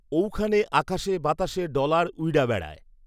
ঔখানে আকাশে বাতাসে ডলার উইড়্যা বেড়ায়